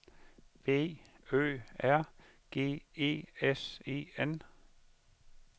B Ø R G E S E N